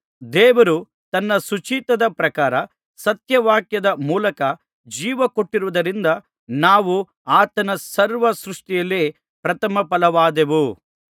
ದೇವರು ತನ್ನ ಸುಚಿತ್ತದ ಪ್ರಕಾರ ಸತ್ಯವಾಕ್ಯದ ಮೂಲಕ ಜೀವಕೊಟ್ಟಿವುದರಿಂದ ನಾವು ಆತನ ಸರ್ವ ಸೃಷ್ಟಿಯಲ್ಲಿ ಪ್ರಥಮ ಫಲವಾದೆವು